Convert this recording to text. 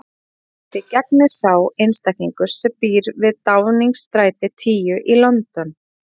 Hvaða embætti gegnir sá einstaklingur sem býr við Downingstræti tíu í London?